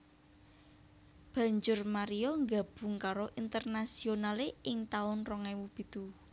Banjur Mario nggabung karo Internazionale ing taun rong ewu pitu